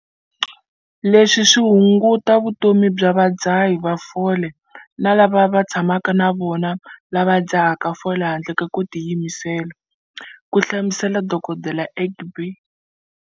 Leswi swi hunguta vutomi bya vadzahi va fole na lava va tshamaka na vona lava va dzahaka fole handle ko tiyimisela, ku hlamusela Dok. Egbe.